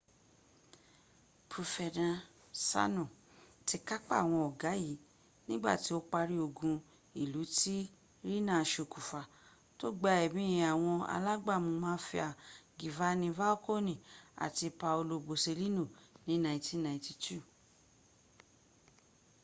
profenasano ti kapa awon oga yi nigba ti o pari ogun ilu ti riina sokunfa to gba emi awon alagbamu mafia gifani falkoni ati paolo boselino ni 1992